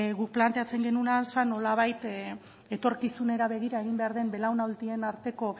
guk planteatzen genuena zen nolabait etorkizunera begira egin behar den belaunaldien arteko